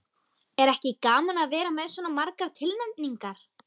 Er ekki gaman að vera með svona margar tilnefningar?